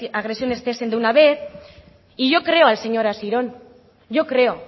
agresiones cesen de una vez y yo creo al señor asiron yo creo